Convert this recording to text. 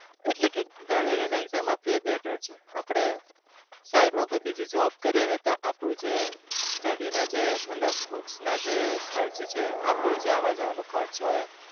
એટલે કે ઘરે રહીને exam અપાવી એ better છે આપણે side કોઈ બીજી job કરીએ ને આપણું જે study ના જે મતલબ books જે ખર્ચ છે આપણું જે આવવા જવાનું ખર્ચ હોય,